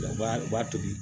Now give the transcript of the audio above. U b'a u b'a tobi